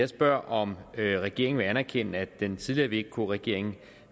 spørger om regeringen vil anerkende at den tidligere vk regering